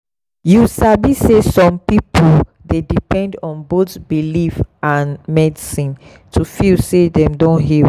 you sabi say some people dey depend on both belief and medicine to feel say dem don heal.